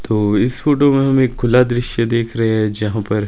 तो इस फोटो में हमें खुला दृश्य देख रहे हैं जहां पर --